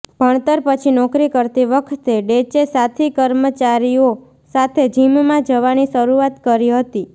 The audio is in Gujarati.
ભણતર પછી નોકરી કરતી વખતે ડેચે સાથી કર્મચારીઓ સાથે જિમમાં જવાની શરૂઆત કરી હતી